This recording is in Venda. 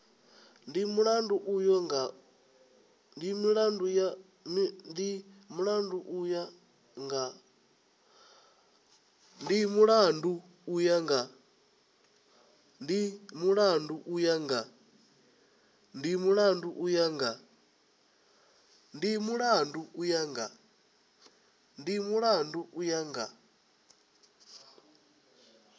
ndi mulandu u ya nga